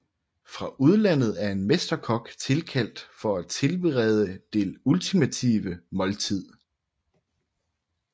Fra udlandet er en mesterkok tilkaldt for at tilberede det ultimative måltid